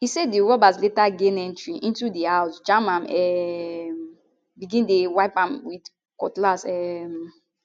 e say di robbers later gain entry into di house jam am um and begin dey wipe am with cutlass um